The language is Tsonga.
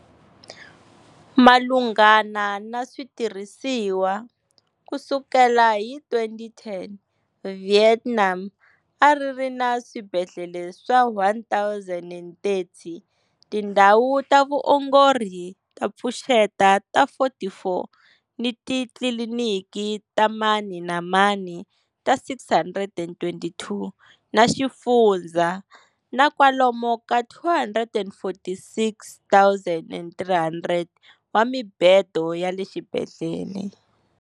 Malunghana ni switirhisiwa, ku sukela hi 2010, Vietnam a ri ri ni swibedlhele swa 1 030, tindhawu ta vuongori to pfuxeta ta 44 ni titliliniki ta mani na mani ta 622 ta xifundzha, na kwalomu ka 246,300 wa mibedo ya le xibedhlele.